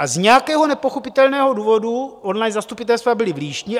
A z nějakého nepochopitelného důvodu online zastupitelstva byla v Líšni.